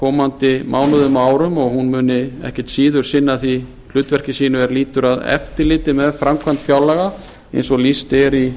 komandi mánuðum og árum og hún muni ekkert síður sinna því hlutverki sínu sem lýtur að eftirliti með framkvæmd fjárlaga eins og lýst er í